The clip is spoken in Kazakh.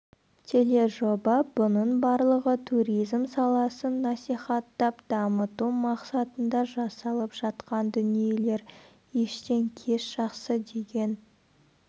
тележоба бұның барлығы туризм саласын насихаттап дамыту мақсатында жасалып жатқан дүниелер ештен кеш жақсы деген